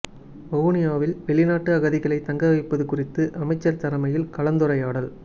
வவுனியாவில் வெளிநாட்டு அகதிகளை தங்க வைப்பது குறித்து அமைச்சர் தலைமையில் கலந்துரையாடல்